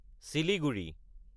Siliguri